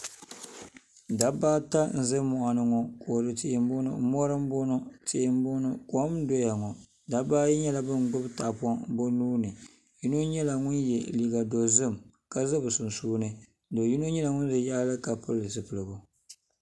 Dabba ata n ʒɛ moɣani ŋo kodu tihi n boŋo mori n boŋo tihi n boŋo kom n doya ŋo dabba ayi nyɛla bin gbubi tahapoŋ bi nuuni yino nyɛla ŋun yɛ liiga dozim ka ʒɛ bi sunsuuni do yino nyɛla ŋun bɛ yaɣali ka pili zipiligu